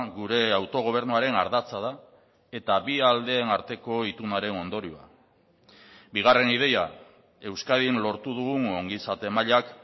gure autogobernuaren ardatza da eta bi aldeen arteko itunaren ondorioa bigarren ideia euskadin lortu dugun ongizate mailak